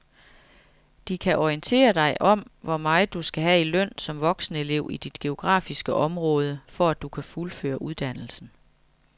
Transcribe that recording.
De kan orientere dig om hvor meget du skal have i løn som voksenelev i dit geografiske område, for at du kan fuldføre uddannelsen.